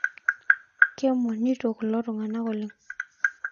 Keemonito kulo tungana oleng